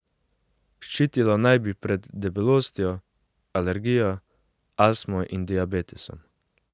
Ščitilo naj bi pred debelostjo, alergijo, astmo in diabetesom.